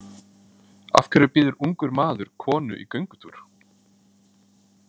Af hverju býður ungur maður konu í göngutúr?